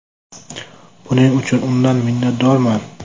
Buning uchun undan minnatdorman.